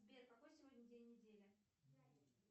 сбер какой сегодня день недели